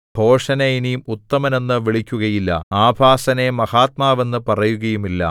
ഭോഷനെ ഇനി ഉത്തമൻ എന്നു വിളിക്കുകയില്ല ആഭാസനെ മഹാത്മാവെന്നു പറയുകയുമില്ല